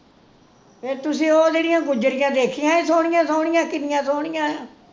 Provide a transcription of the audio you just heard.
ਫਿਰ ਤੁਸੀ ਉਹ ਜਿਹੜੀਆਂ ਗੁੱਜਰੀਆਂ ਦੇਖੀਆਂ ਸੀ ਸੋਹਣੀਆਂ ਸੋਹਣੀਆਂ ਕਿੰਨੀਆਂ ਸੋਹਣੀਆਂ